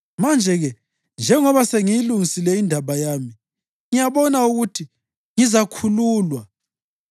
Manje-ke njengoba sengiyilungisile indaba yami, ngiyabona ukuthi ngizakhululwa.